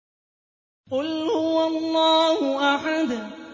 قُلْ هُوَ اللَّهُ أَحَدٌ